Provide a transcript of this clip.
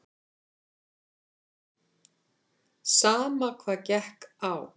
Sama hvað gekk á.